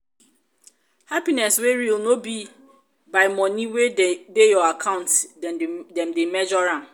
happiness wey real no be by money wey dey your account dem dey measure am.